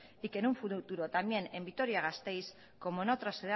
y que en un futuro también en vitoria gasteiz como en otras